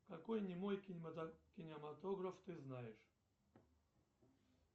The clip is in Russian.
какой немой кинематограф ты знаешь